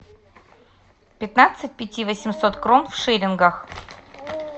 пятнадцать пяти восемьсот крон в шиллингах